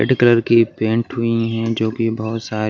red colour की paint हुई है जो कि बहुत सा --